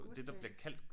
Godsbanen